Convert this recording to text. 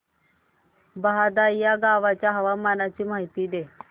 बहादा या गावाच्या हवामानाची माहिती दे